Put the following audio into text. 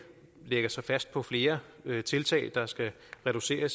lægger sig fast på flere tiltag der skal reducere